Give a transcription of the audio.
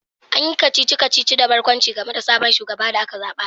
An yi kacici-kacici da barkwanci game da sabon shugaban da aka zaba